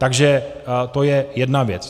Takže to je jedna věc.